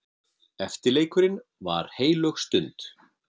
Eftirleikurinn var heilög stund.